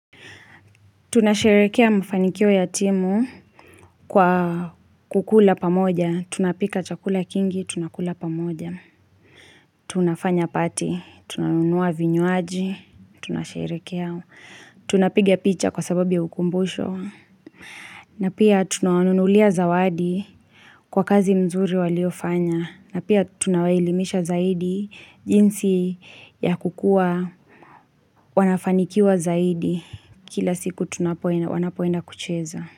Tunasherekea mfanikio ya timu kwa kula pamoja. Tunapika chakula kingi, tunakula pamoja. Tunafanya pati. Tunanunua vinywaji. Tunasherekea. Tunapigia picha kwa sababu ya ukumbusho. Na pia tunawanunulia zawadi kwa kazi nzuri waliofanya. Na pia tunawelimisha zaidi jinsi ya kukua wanafanikiwa zaidi kila siku wanapoenda kucheza.